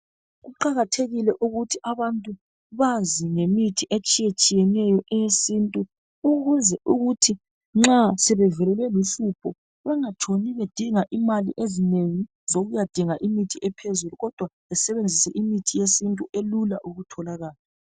Kuqakathekile ukuthi abantu bazi ngemithi etshiye tshiyeneyo eyesintu ukuze ukuthi nxa sebevelelwe luhlupho bengatshoni bedinga imali ezinengi zokuyadinga imithi ephezulu kodwa besebenzise imithi yesintu elula ukutholakala.